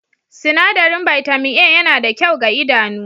Sinadarin bitamin A yana da kyau ga idanu